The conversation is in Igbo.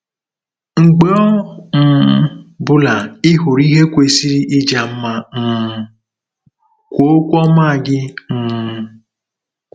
Mgbe ọ um bụla ị hụrụ ihe kwesịrị ịja mma um, kwuo okwu ọma gị um.